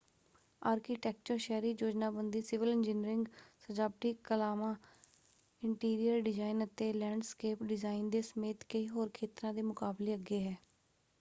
Architecture ਸ਼ਹਿਰੀ ਯੋਜਨਾਬੰਦੀ civil engineering ਸਜਾਵਟੀ ਕਲਾਵਾਂ ਇੰਟੀਰੀਅਰ ਡਿਜ਼ਾਇਨ ਅਤੇ ਲੈਂਡਸਕੇਪ ਡਿਜ਼ਾਇਨ ਦੇ ਸਮੇਤ ਕਈ ਹੋਰ ਖੇਤਰਾਂ ਦੇ ਮੁਕਾਬਲੇ ਅੱਗੇ ਹੈ।